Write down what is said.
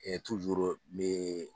Ɛ mɛ